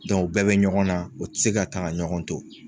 u bɛɛ bɛ ɲɔgɔn na u tɛ se ka taa ka ɲɔgɔn to.